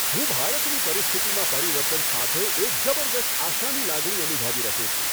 હું ભારતની પરિસ્થિતિમાં પરિવર્તન સાથે એક જબરદસ્ત આશાની લાગણી અનુભવી રહ્યો છું.